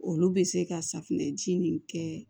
Olu bɛ se ka safunɛ ji nin kɛ